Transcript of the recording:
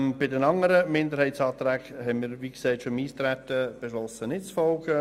Die anderen Minderheitsanträge unterstützen wir nicht, wie wir bereits beim Eintreten gesagt haben.